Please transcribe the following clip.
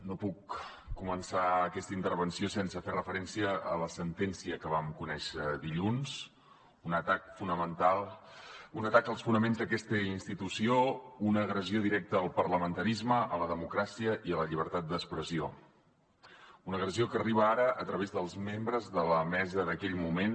no puc començar aquesta intervenció sense fer referència a la sentència que vam conèixer dilluns un atac als fonaments d’aquesta institució una agressió directa al parlamentarisme a la democràcia i a la llibertat d’expressió una agressió que arriba ara a través dels membres de la mesa d’aquell moment